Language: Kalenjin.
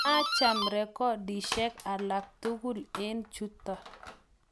maacham rekodisiek alak tugul eng' chuto